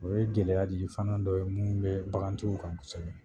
O ye gɛlɛya digi fana dɔ ye mun bɛ bagantigiw kan kosɛbɛ.